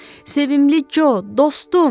Sevimli Co, dostum!